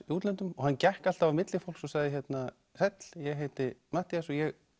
í útlöndum og hann gekk alltaf á milli fólks og sagði sæll ég heiti Matthías og ég